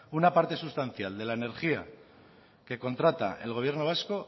una parte sustancial de la energía que contrata el gobierno vasco